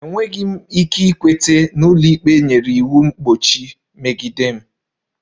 Enweghị m ike ikweta na ụlọikpe nyere iwu mgbochi megide m